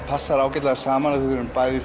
passar ágætlega saman því við erum bæði